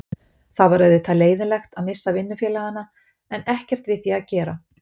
Það var auðvitað leiðinlegt, að missa vinnufélagana, en ekkert við því að gera.